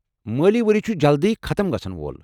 مٲلی ؤری چھُ جلدِیہ ختٕم گژھن وول۔